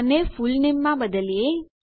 આને ફૂલનેમમાં બદલીએ